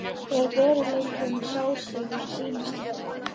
Er veruleikinn sá sem hann sýnist vera?